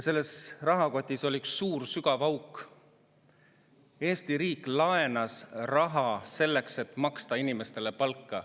Eesti riik laenas raha selleks, et inimestele palka maksta.